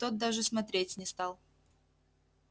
тот даже смотреть не стал